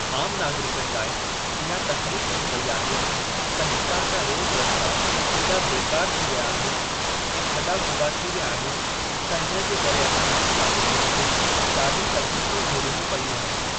आम नागरिकनि लाइ इहा तकलीफ़ थी पेई आहे त हितां जा रोड रस्ता ऐॾा बेकार थी विया आहिनि ऐं खॾा खुॿा थी विया आहिनि त इन जे करे असां आम नागरिकनि खे ॾाढी तकलीफ़ू झेलणियूं पयूं आहिनि।